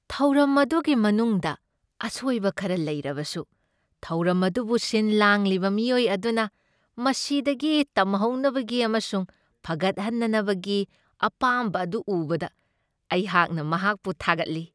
ꯊꯧꯔꯝ ꯑꯗꯨꯒꯤ ꯃꯅꯨꯡꯗ ꯑꯁꯣꯏꯕ ꯈꯔ ꯂꯩꯔꯕꯁꯨ, ꯊꯧꯔꯝ ꯑꯗꯨꯕꯨ ꯁꯤꯟ ꯂꯥꯡꯂꯤꯕ ꯃꯤꯑꯣꯏ ꯑꯗꯨꯅ ꯃꯁꯤꯗꯒꯤ ꯇꯝꯍꯧꯅꯕꯒꯤ ꯑꯃꯁꯨꯡ ꯐꯒꯠꯍꯟꯅꯕꯒꯤ ꯑꯄꯥꯝꯕ ꯑꯗꯨ ꯎꯕꯗ ꯑꯩꯍꯥꯛꯅ ꯃꯍꯥꯛꯄꯨ ꯊꯥꯒꯠꯂꯤ꯫